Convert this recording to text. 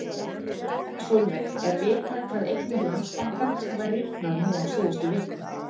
Sólveig: Er vitað hvað eignir Landsbankans hafa rýrnað núna á síðustu vikum?